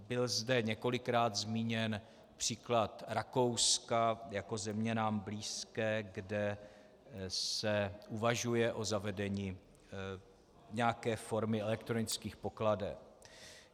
Byl zde několikrát zmíněn příklad Rakouska jako země nám blízké, kde se uvažuje o zavedení nějaké formy elektronických pokladen.